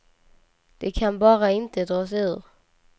De kan bara inte dra sig ur.